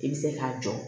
I bɛ se k'a jɔ